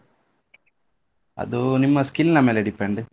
ಅದು ನಿಮ್ಮ skill ನಾ ಮೇಲೆ depend .